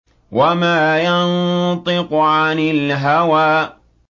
وَمَا يَنطِقُ عَنِ الْهَوَىٰ